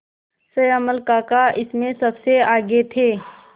श्यामल काका इसमें सबसे आगे थे